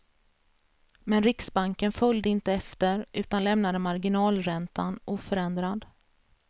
Men riksbanken följde inte efter, utan lämnade marginalräntan oförändrad.